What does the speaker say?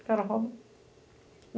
O cara rouba.